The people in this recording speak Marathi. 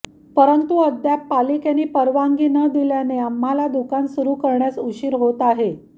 परंतु अद्याप पालिकेने परवानगी न दिल्याने आम्हांला दुकान सुरु करण्यास उशीर होत आहे